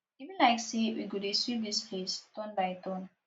e be like say we go dey sweep dis place turn by turn